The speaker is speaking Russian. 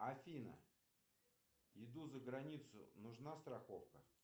афина иду за границу нужна страховка